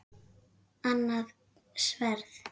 Annað sverð.